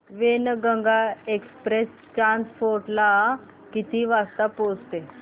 Wainganga Express Chanda Fort ला किती वाजता पोहचते